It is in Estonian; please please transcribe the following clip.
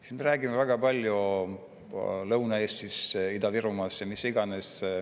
Siis me räägime väga palju Lõuna-Eestist, Ida-Virumaast ja mis iganes.